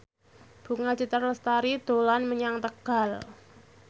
Bunga Citra Lestari dolan menyang Tegal